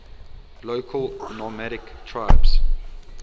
local nomadic tribes